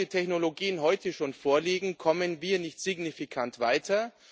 Obwohl die Technologien heute schon vorliegen, kommen wir nicht signifikant weiter.